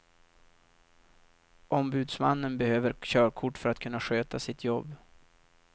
Ombudsmannen behöver körkort för att kunna sköta sitt jobb.